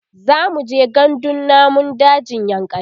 zamuje gandun namun dajin yankari